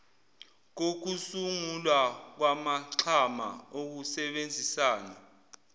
kokusungulwa kwamaxhama okusebenzisana